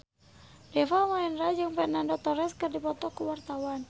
Deva Mahendra jeung Fernando Torres keur dipoto ku wartawan